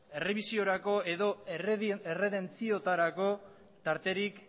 errebisiorako edo erredentziotarako tarterik